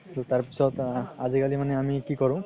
তাৰ পিছত আজি কালি মানে আমি কি কৰো